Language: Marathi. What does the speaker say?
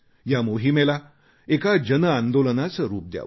या मोहिमेला एका जनआंदोलनाचे रूप द्यावे